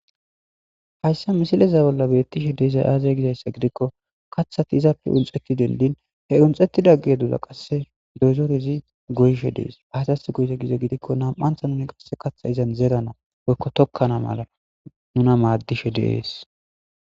Hayssa misileza bolla beetishe de'izay aaze gizayssa gidikko kaththati izappe unxxetti denddin he unxxetida geedoza qasse goyishe dees. Aazas goyize gizayssa giddikko nam'anthonee qasse kaththa izan zeranasi woykko tookana mala maadishe de'esi.